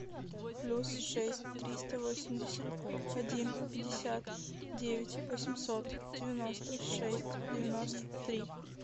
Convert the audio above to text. плюс шесть триста восемьдесят один пятьдесят девять восемьсот девяносто шесть девяносто три